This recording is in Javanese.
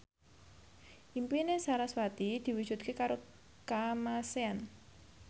impine sarasvati diwujudke karo Kamasean